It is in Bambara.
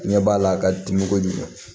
Ɲɛ b'a la a ka dimi kojugu